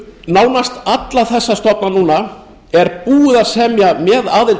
nánast alla þessa stofna núna er búið að semja með aðild